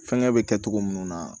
Fɛnkɛ bɛ kɛ cogo minnu na